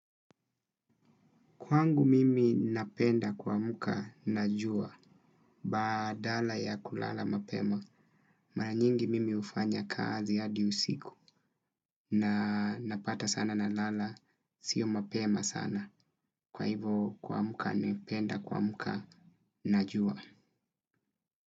Kwangu mimi napenda kuamka najua baadala ya kulala mapema maranyingi mimi hufanya kazi hadi usiku na napata sana na lala sio mapema sana kwa hivo kuamuka napenda kuamuka najua.